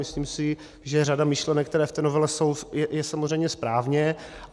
Myslím si, že řada myšlenek, které v té novele jsou, je samozřejmě správně.